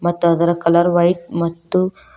ಮತ್ತು ಅದರ colour white ಮತ್ತು--